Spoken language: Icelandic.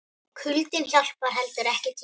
Kuldinn hjálpar heldur ekki til.